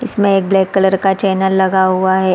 इसमें एक black colour का चेनेल लगा हुआ हैं।